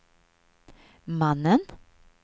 mannen